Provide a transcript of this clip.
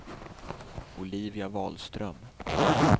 Olivia Wahlström